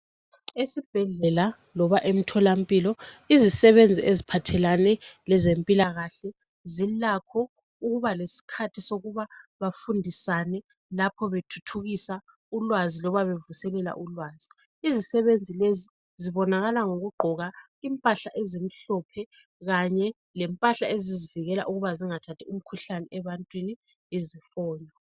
Esibhedlela loba emtholampilo izisebenzi eziphathelane lezempilakahle zilakho ukuba bafundisane lapho bethuthukisa ulwazi loba bevuselela ulwazi. Izisebenzi lezi zibonakala ngokugqoka impahla ezimhlophe Kanye lempahla ezizivikela ukuba zingathathi umkhuhlane ebantwini izifonyo.